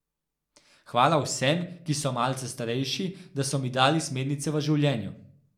Hvala vsem, ki so malce starejši, da so mi dali smernice v življenju.